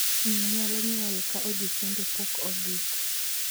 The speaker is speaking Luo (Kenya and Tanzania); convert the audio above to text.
Miyo nyalo nyuol ka odiechienge pok ogik.